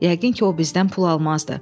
Yəqin ki, o bizdən pul almazdı.